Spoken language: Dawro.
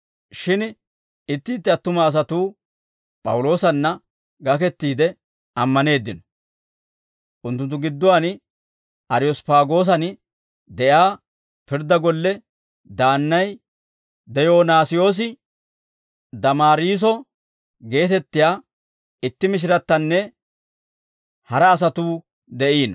Shin itti itti attuma asatuu P'awuloosanna gakettiide ammaneeddino; unttunttu gidduwaan Ariyosppaagoosan de'iyaa pirddaa golle daannay Diyoonaasiyoosi, Damaariiso geetettiyaa itti mishirattinna hara asatuu de'iino.